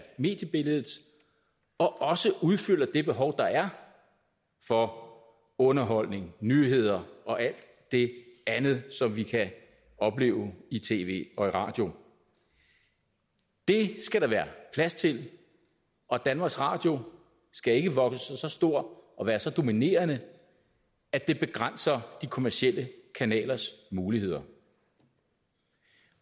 mediebilledet og også udfylder det behov der er for underholdning nyheder og alt det andet som vi kan opleve i tv og i radio det skal der være plads til og danmarks radio skal ikke vokse sig så stor og være så dominerende at det begrænser de kommercielle kanalers muligheder